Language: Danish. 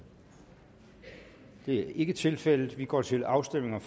det er ikke tilfældet vi går til afstemning